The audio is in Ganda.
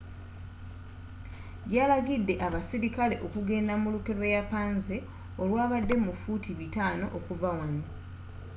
yalagidde abasirikale okugenda mu lukwe lw'eyapanze olwabadde fuuti 500 okuva wano